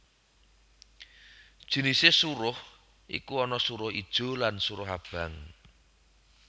Jinisé suruh iku ana suruh ijo lan suruh abang